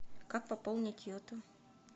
как пополнить йоту